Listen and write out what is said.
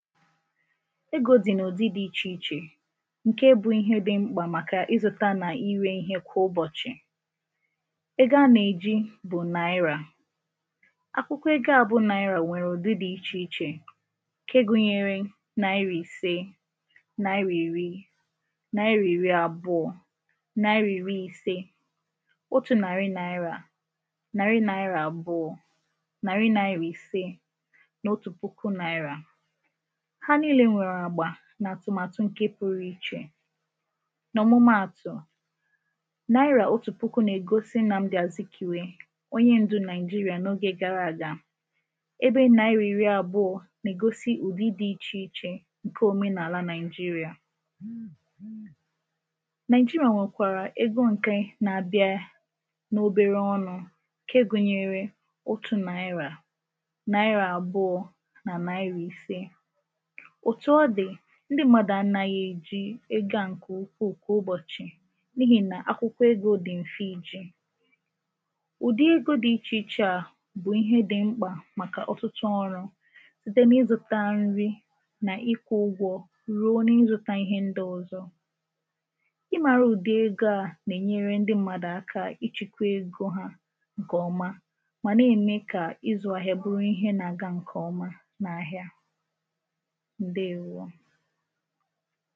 Egō dị̀ n’ụ̀dị dị ichè ichè ǹke bụ ihe dị mkpà màkà ịzụ̄ta nà inwē ihe kwà ụbọ̀chị̀ ego anà-èji bụ̀ naira akwụkwọ ego à bụ naira nwèrè ụ̀dị dị ichè ichè ǹke gụnyere naira ìse naira ìri naira ìri àbụọ̄ naira ìri ise otū nàrị naira nàrị naira àbụọ̄ nàrị naira ìse nà otù puku naira ha niīle nwèrè àgbà nà àtụ̀màtụ̀ ǹke pụrụ ichè ọ̀mụmaàtụ̀ naira otù puku nà-ègosi Nnamdi Azikiwe onye ǹdu Nigeria n’ogē gara àga ebe naira ìri àbụọ̄ nà-ègosi ụ̀dị dị ichè ichè ǹke òmenàla Nigeria Nigeria nwèkwàrà ego ǹke na-abịe n’obere ọnụ̄ ǹke gụnyere otū naira naira àbụọ̄ na naira ise òtù ọ dị̀ ndị mmadụ̀ anāghị èji ego à ǹkè ukwuù kwà ụbọ̀chị̀ n’ihì nà akwụkwọ egō dị̀ m̀fe ijì ụ̀dị ego dị ichè ichē à bụ̀ ihe dị mkpà màkà ọ̀tụtụ ọrụ̄ site na ịzụ̄ta nri nà ịkwụ̄ ụgwọ̄ ruo na ịzụ̄ta ihe ndị ọ̀zọ ịmāra ụ̀dị ego à nà-ènyere ndị mmadụ̀ aka ịchị̄kwa ego ha ǹkè ọma mà na-ème kà ịzụ̄ ahịa bụ ihe na-aga ǹkè ọma n’ahịa ǹdeèwo